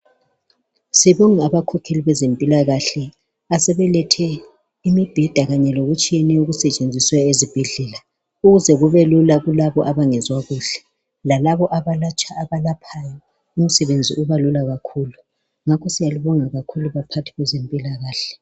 Sibonga abakhokheli bezempilakahle asebelethe imibheda kanye lokutshiyeneyo okusetshenziswa ezibhedlela ukuze kubelula kulabo abangezwa kuhle lalabo abalatshwa abalaphayo umsebenzi ubalula kakhulu ngakho kakhulu baphathi bezempilakahle